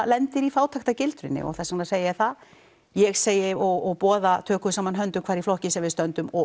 lendir í fátæktargildrunni og þess vegna segi ég það ég segi og boða tökum saman höndum í hverjum flokki sem við stöndum og